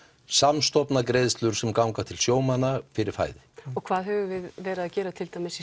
samstofna greiðslur sem ganga til sjómanna fyrir fæði og hvað höfum við verið að gera til dæmis í